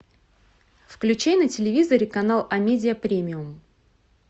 включи на телевизоре канал амедиа премиум